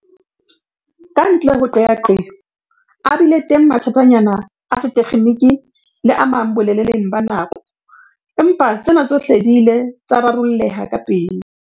Kantle ho qeaqeo, a bile teng mathatanyana a setekgeniki le a mang boleleng ba nako, empa tsena tsohle di ile tsa rarolleha kapele.